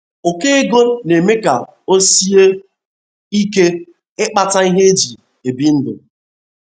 Ụkọ ego na - eme ka o sie ike ịkpata ihe e ji ebi ndụ.